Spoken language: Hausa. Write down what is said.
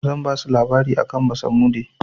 Zan basu labari akan basamude.